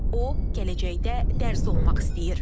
O gələcəkdə dərzi olmaq istəyir.